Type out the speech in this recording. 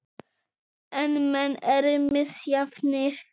En menn eru misjafnir.